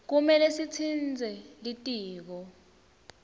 kumele sitsintse litiko